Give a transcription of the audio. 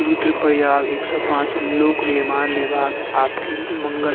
रुद्रप्रयाग एक सौ पाँच लोक निर्माण विभाग आपके मंगल --